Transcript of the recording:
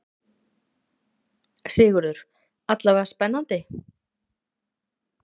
Sigurður: Alla vega spennandi?